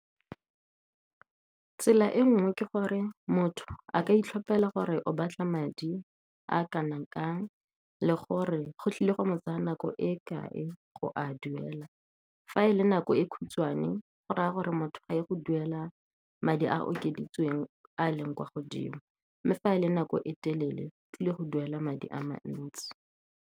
Tsela e nngwe ke gore motho a ka itlhopela gore o batla madi a kanang kang, le gore go tlile go mo tsaya nako e kae go a duela. Fa e le nako e khutshwane, go raya gore motho a ye go duela madi a okeditsweng a leng kwa godimo, mme fa e le nako e telele, o tlile go duela madi a mantsi.